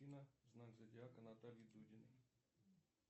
афина знак зодиака натальи дудиной